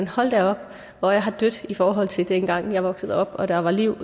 hold da op hvor er her dødt i forhold til dengang jeg voksede op og der var liv